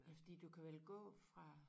Ja fordi du kan vel gå fra